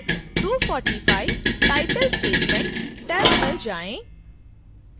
फिर 245 title statement: tab पर जाएँ